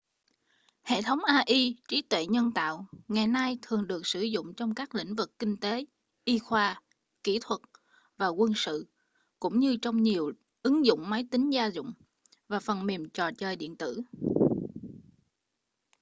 hệ thống ai trí tuệ nhân tạo ngày nay thường được sử dụng trong các lĩnh vực kinh tế y khoa kỹ thuật và quân sự cũng như trong nhiều ứng dụng máy tính gia dụng và phần mềm trò chơi điện tử